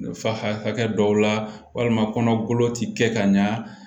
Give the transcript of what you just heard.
Fa hakɛ dɔw la walima kɔnɔ golo ti kɛ ka ɲa